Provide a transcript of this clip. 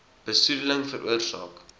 besoede ling veroorsaak